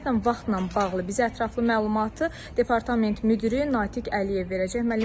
Ümumiyyətlə vaxtla bağlı bizə ətraflı məlumatı Departament müdiri Natiq Əliyev verəcək.